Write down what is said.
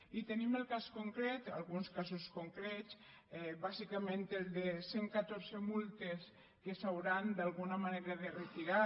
i tenim el cas concret alguns casos concrets bàsicament el de cent catorze multes que s’hauran d’alguna manera de retirar